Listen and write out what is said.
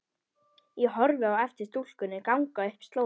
Ég horfi á eftir stúlkunni ganga upp slóðina.